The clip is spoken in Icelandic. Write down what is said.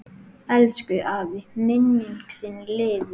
Elsku afi, minning þín lifir.